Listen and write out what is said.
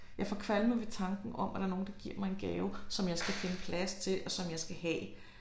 Jeg får kvalme ved tanken om at der er nogen der giver mig en gave som jeg skal finde plads til og som jeg skal have